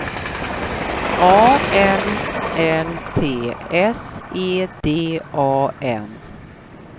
A L L T S E D A N